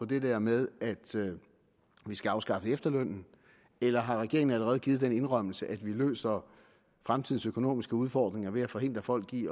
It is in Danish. det der med at vi skal afskaffe efterlønnen eller har regeringen allerede givet den indrømmelse at vi løser fremtidens økonomiske udfordringer ved at forhindre folk i